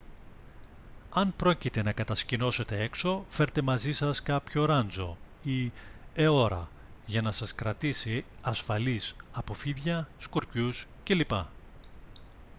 αν πρόκειται να κατασκηνώσετε έξω φέρτε μαζί σας κάποιο ράντσο ή αιώρα για να σας κρατήσει ασφαλείς από φίδια σκορπιούς κ.λπ